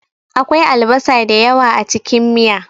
Akwai albasa da yawa a cikin miya.